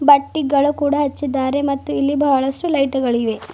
ಬಟ್ಟಿಗಳು ಕೂಡ ಹಚ್ಚಿದ್ದಾರೆ ಮತ್ತು ಇಲ್ಲಿ ಬಹಳಷ್ಟು ಲೈಟುಗಳಿವೆ.